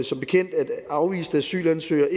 som bekendt at afviste asylansøgere